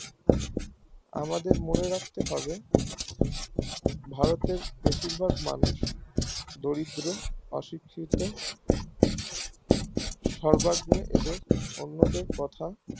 আমাদের মনে রাখতে হবে ভারতের বেশির ভাগ মানুষ দরিদ্র অশিক্ষিত সর্বত্র এদের অন্য দেড় কথা